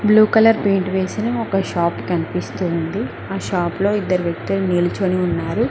Blue colour paint వేసిన ఒక shop కనిపిస్తుంది ఆ షాప్ లో ఇద్దరు వ్యక్తులు నిల్చొని ఉన్నారు.